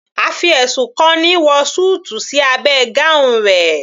A fi ẹ̀sùn kan ni wọ súùtù sí abẹ́ gown rẹ̀